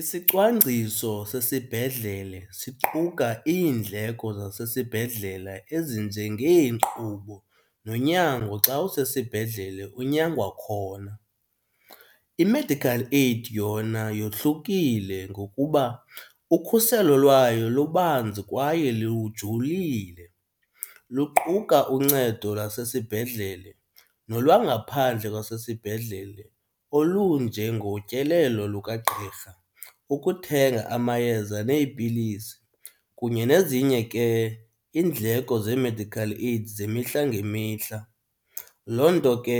Isicwangciso sesibhedlele siqhuka iindleko zasesibhedlela ezinjengeenkqubo nonyango xa usesibhedlele unyangwa khona. I-medical aid yona yohlukile ngokuba ukhuselo lwayo lubanzi kwaye lujulile luquka uncedo lwasesibhedlele nolwangaphandle kwasesibhedlele olunjengotyelelo lukagqirha, ukuthenga amayeza neepilisi kunye nezinye ke iindleko ze-medical aid zemihla ngemihla. Loo nto ke